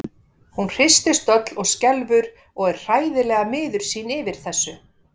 Hún hristist öll og skelfur og er hræðilega miður sín yfir þessu.